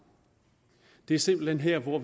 det er simpelt hen her hvor